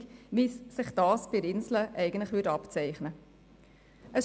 Es soll keine definitive Lösung darstellen, wie es sich beim Inselspital abzeichnen könnte.